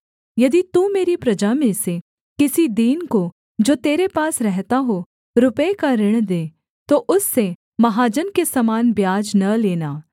यदि तू मेरी प्रजा में से किसी दीन को जो तेरे पास रहता हो रुपये का ऋण दे तो उससे महाजन के समान ब्याज न लेना